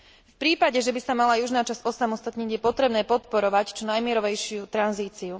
V prípade, že by sa mala južná časť osamostatniť je potrebné podporovať čo najmierovejšiu tranzíciu.